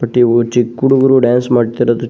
ಪ್ರತಿಯೊಬ್ಬ್ ಚಿಕ್ಕ್ ಹುಡುಗುರು ಡ್ಯಾನ್ಸ್ ಮಾಡ್ತಿರೋದು --